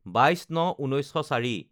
২২/০৯/১৯০৪